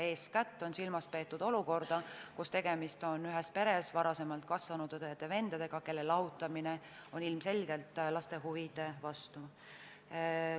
Eeskätt on silmas peetud olukorda, kus tegemist on ühes peres varem kasvanud õdede-vendadega, kelle lahutamine on ilmselgelt laste huvide vastu.